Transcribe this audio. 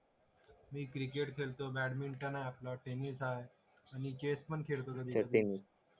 तुझे कोणता आहे मी क्रिकेट खेळतो बॅटमिंटन हाय आपला टेनिस हाय आणि चेस पण खेळतो